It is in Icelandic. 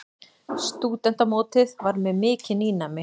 Stúdentamótið var mér mikið nýnæmi.